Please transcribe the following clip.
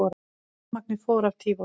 Rafmagn fór af Tívolí